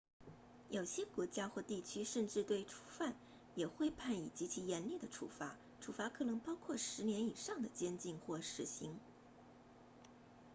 有些国家地区甚至对初犯也会判以极其严厉的处罚处罚可能包括10年以上的监禁或死刑